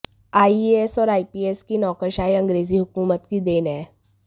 IAS और IPS की नौकरशाही अंग्रेजी हुकूमत की देन है